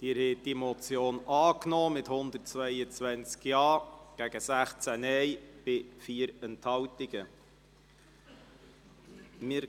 Sie haben die Motion mit 122 Ja- gegen 16 Nein-Stimmen bei 4 Enthaltungen angenommen.